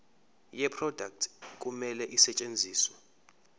yeproduct kumele isetshenziswe